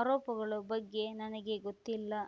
ಆರೋಪಗಳ ಬಗ್ಗೆ ನನಗೆ ಗೊತ್ತಿಲ್ಲ